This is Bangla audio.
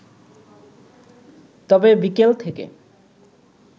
তবে, বিকেল থেকে